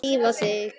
Drífa sig